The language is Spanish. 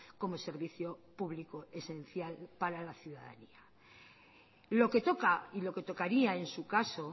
como servicio público esencial para la ciudadanía lo que toca y lo que tocaría en su caso